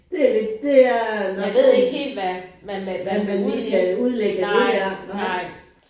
Det lidt det er man man hvad man lige kan udlægge af det her nej